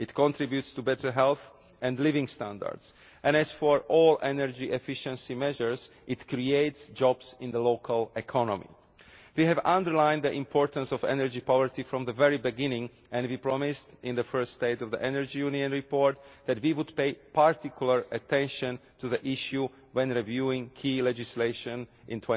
It contributes to better health and living standard, and as for all energy efficiency measures, it creates jobs in the local economy. We have underlined the importance of energy poverty from the very beginning, and we promised in the first State of the Energy Union Report that we would pay particular attention to the issue when reviewing key legislation